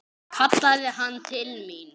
kallaði hann til mín.